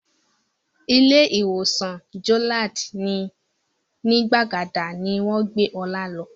Ilé ìwòsàn Jolad ní Gbàgádà ni wọ́n gbé Ọlá lọ